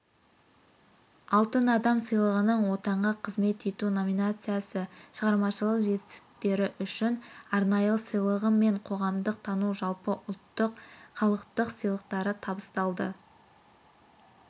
алтын адам сыйлығының отанға қызмет ету номинациясы шығармашылық жетістіктері үшін арнайы сыйлығы мен қоғамдық тану жалпыұлттық халықтық сыйлықтары табысталды